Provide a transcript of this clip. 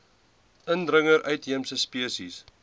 indringer uitheemse spesies